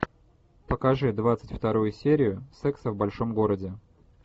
покажи двадцать вторую серию секса в большом городе